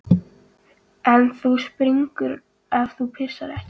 En þú springur ef þú pissar ekki.